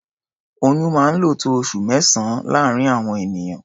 Oyún máa ń lò tó oṣù mẹ́sàn-án láàárín àwọn ènìyàn.